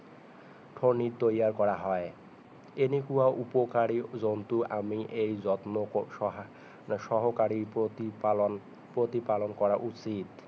ফণী তৈয়াৰ কৰা হয় এনেকুৱা উপকাৰী জন্তু আমি এই যত্ন সহকাৰে প্ৰতি পালন প্ৰতি পালন কৰা উৎচিত